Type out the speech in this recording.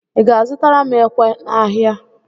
Ị ga-azụtara m ekwe n'ahịa?